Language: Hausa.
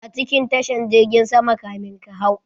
A cikin tashan jirgin sama kamin ka hau.